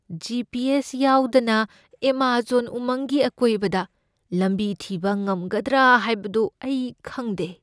G. P. S. ꯌꯥꯎꯗꯅ Amazon ꯎꯃꯪꯒꯤ ꯑꯀꯣꯏꯕꯗ ꯂꯝꯕꯤ ꯊꯤꯕ ꯉꯝꯒꯗ꯭ꯔꯥ ꯍꯥꯏꯕꯗꯨ ꯑꯩ ꯈꯪꯗꯦ ꯫